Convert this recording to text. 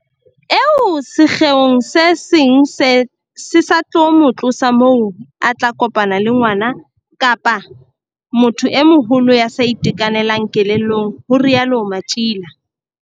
Eo sekgeong se seng se sa tlo mo tlosa moo a tla kopana le ngwana kapa motho e moholo ya sa itekanelang kelellong, ho rialo Matjila.